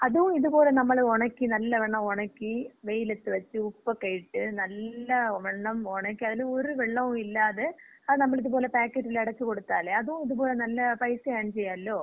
അതും ഇതുപോലെ നമ്മള് ഒണക്കി, നല്ലവണ്ണം ഒണക്കി വെയിലത്ത് വെച്ച്. ഉപ്പൊക്കെ ഇട്ട് നല്ലവണ്ണം ഒണക്കി. അതിലൊരു വെള്ളവും ഇല്ലാതെ അത് നമ്മളിതുപോലെ പാക്കറ്റിലടച്ച് കൊടുത്താലെ അതും ഇതുപോലെ നല്ല പൈസ ഏൺ ചെയ്യാലോ?